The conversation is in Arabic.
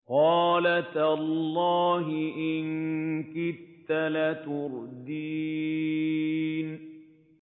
قَالَ تَاللَّهِ إِن كِدتَّ لَتُرْدِينِ